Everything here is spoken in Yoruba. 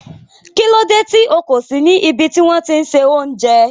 Kílódé tí o kò sí ní ibè tì wọn ti n ṣẹ ọ̀unjẹ?